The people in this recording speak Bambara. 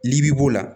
N'i b'o la